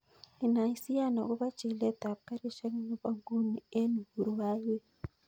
Inaisian akobo chilet ab garishek nebo nguni en uhuru highway